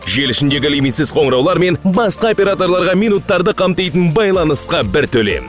желі ішіндегі лимитсіз қоңыраулармен басқа операторларға минуттарды қамтитын байланысқа бір төлем